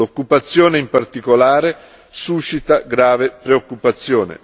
L'occupazione, in particolare, suscita grave preoccupazione.